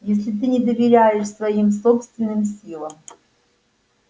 если ты не доверяешь своим собственным силам